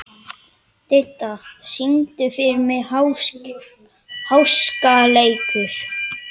Didda, syngdu fyrir mig „Háskaleikur“.